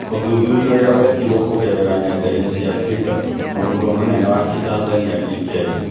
ũthuthuria ũrĩa wekirwo kũgerera nyendainĩ cia twitter .Mũrũtwo mũnene wa Kĩtanzania DK